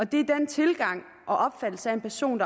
det er den tilgang og opfattelse af en person